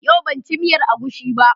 Yau ban ci miyar agushi ba.